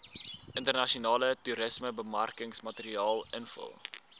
internasionale toerismebemarkingsmateriaal invul